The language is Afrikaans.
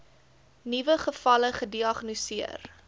nuwe gevalle gediagnoseer